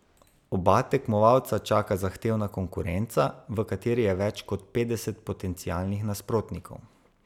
Oba tekmovalca čaka zahtevna konkurenca, v kateri je več kot petdeset potencialnih nasprotnikov.